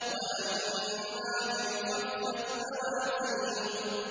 وَأَمَّا مَنْ خَفَّتْ مَوَازِينُهُ